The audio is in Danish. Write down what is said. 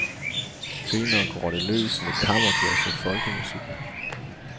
Senere går det løs med kammerjazz og folkemusik.